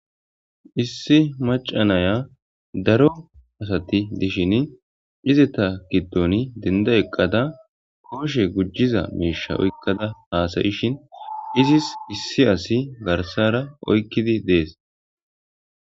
Issi maaca na'iya daro asatti dishinni izata giddonni dendda eqqada koshshe l gujiza miiishsha oykada haysa'ishin izis issi asi garssara oykkidi de'es.